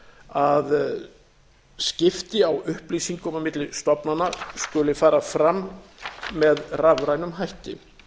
að skipti á upplýsingum á milli stofnana skuli fara fram með rafrænum hætti